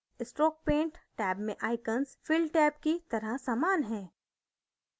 stroke paint tab में icons fill tab की तरह समान हैं